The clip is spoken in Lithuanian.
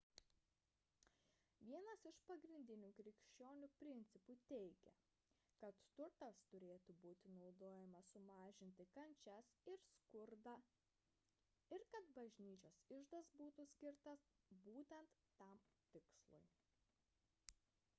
vienas iš pagrindinių krikščionių principų teigia kad turtas turėtų būti naudojamas sumažinti kančias ir skurdą ir kad bažnyčios iždas skirtas būtent tam tikslui